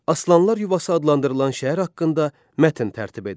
Aslanlar yuvası adlandırılan şəhər haqqında mətn tərtib edin.